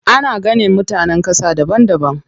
Ana ganin mutanen ƙasa daban daban.